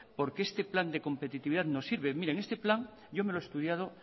porque este plan de competitividad no sirve mire en este plan yo me lo he estudiado